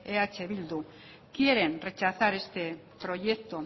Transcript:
eh bildu quieren rechazar este proyecto